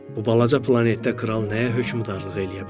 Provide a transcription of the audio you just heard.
Bu balaca planetdə kral nəyə hökmdarlıq eləyə bilərdi?